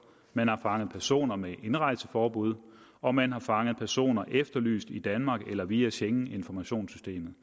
man har fanget personer med indrejseforbud og man har fanget personer der er efterlyst i danmark eller via schengeninformationssystemet